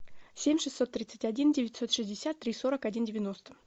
семь шестьсот тридцать один девятьсот шестьдесят три сорок один девяносто